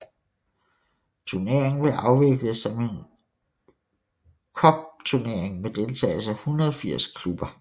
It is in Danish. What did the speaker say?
Turneringen blev afviklet som en cupturnering med deltagelse af 180 klubber